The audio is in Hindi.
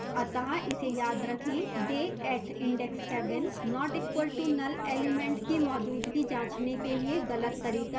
अतः इसे याद रखें day at index 7 not equal to null element की मौजूदगी जाँचने के लिए गलत तरीका है